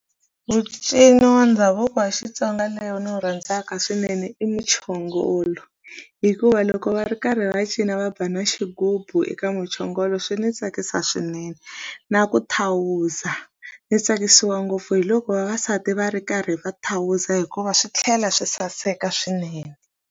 Mucini wa ndhavuko wa Xitsonga leyo ndzi wu rhandzaka swinene i muchongolo hikuva loko va ri karhi va cina va ba na xigubu eka muchongolo swi ndzi tsakisa swinene na ku thawuza ndzi tsakisiwa ngopfu hi loko vavasati va ri karhi va thawuza hikuva swi tlhela swi saseka swine.